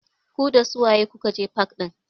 Ku dasu waye kuka je fak ɗin?